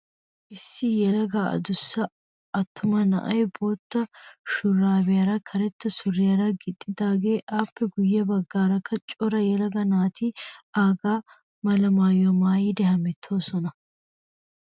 Issi yelaga adussa attuma na''ayi bootta shuraabiyaara karetta suriyaara gixxidaaga. Appe guyye baggaarakka cora yelaga naati aaga mala maayyuwaa maayyidi hemettoosona.